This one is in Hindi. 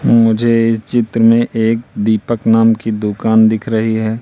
मुझे इस चित्र मे एक दीपक नाम की दुकान दिख रही है।